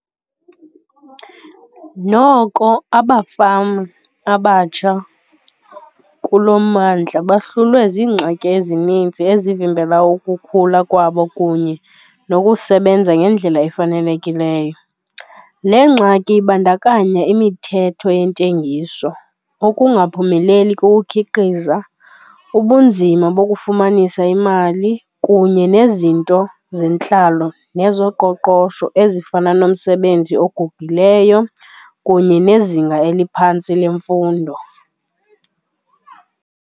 Noko abafama abatsha kulo mmandla bahlulwe ziingxaki ezinintsi ezivimbela ukukhula kwabo kunye nokusebenza ngendlela efanelekileyo. Le ngxaki ibandakanya imithetho yentengiso, ukungaphumeleli kokukhiqiza, ubunzima bokufumanisa imali kunye nezinto zentlalo nezoqoqosho ezifana nomsebenzi ogugileyo kunye nezinga eliphantsi lemfundo.